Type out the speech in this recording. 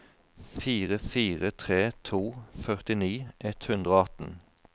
fire fire tre to førtini ett hundre og atten